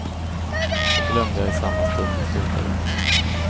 Det glömde jag i samma stund jag slutade.